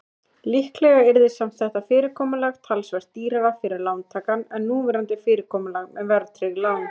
Líklega yrði samt þetta fyrirkomulag talsvert dýrara fyrir lántakann en núverandi fyrirkomulag með verðtryggð lán.